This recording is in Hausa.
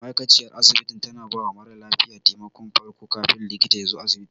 Ma'aikaciyar asibiti tana bawa mara lafiya taimakon farko kafin likita yazo asibiti.